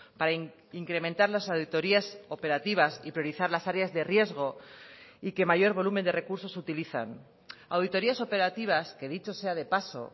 para incrementar las auditorías operativas y priorizar las áreas de riesgo y que mayor volumen de recursos utilizan auditorías operativas que dicho sea de paso